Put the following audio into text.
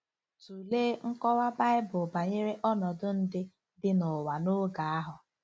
Tụlee nkọwa Bible banyere ọnọdụ ndị dị n’ụwa n’oge ahụ: